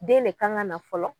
Den de kan ka na fɔlɔ.